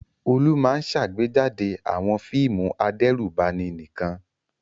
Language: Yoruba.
Olú máa ń ṣàgbéjáde àwọn fíìmù adẹ́rùbani nìkan.